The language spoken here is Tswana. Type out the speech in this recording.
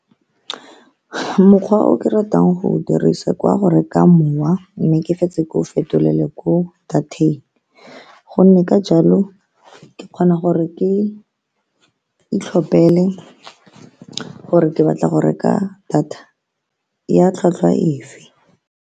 Mokgwa o ke ratang go o dirisa ke wa go reka mowa, mme ke fetse ke o fetolele ko data-eng, ka gonne ka jalo ke kgona gore ke itlhopele gore ke batla go reka data ya tlhwatlhwa efe.